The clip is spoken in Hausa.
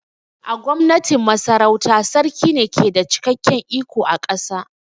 A Gwamnatin Masarauta, Sarki ne ke da cikakken iko a ƙasa